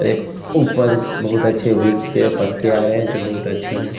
एक ऊपर बहुत अच्छे वृक्ष के पत्ते आ रहे हैं जो बहुत अच्छे हैं।